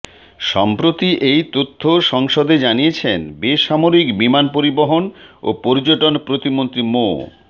সম্প্রতি এই তথ্য সংসদে জানিয়েছেন বেসামরিক বিমান পরিবহন ও পর্যটন প্রতিমন্ত্রী মো